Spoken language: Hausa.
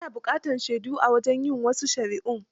Ana buƙatar shaidu a wajen yin wasu shari'un.